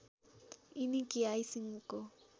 यिनी केआई सिंहको